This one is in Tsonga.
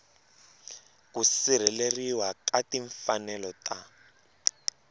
ku sirheleriwa ka timfanelo ta